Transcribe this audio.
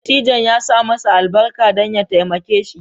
Dattijon ya sa masa albarka don ya taimake shi